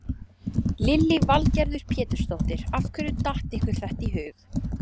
Lillý Valgerður Pétursdóttir: Af hverju datt ykkur þetta í hug?